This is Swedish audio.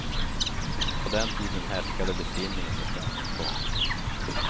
På den tiden härskade besinningen i svensk konst.